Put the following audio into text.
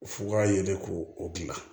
F'u ka yelen ko o gilan